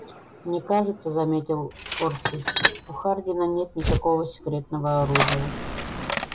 мне кажется заметил орси у хардина нет никакого секретного оружия